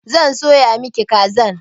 Zan soya miki kazan.